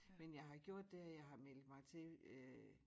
Men jeg har gjort det at jeg har meldt mig til øh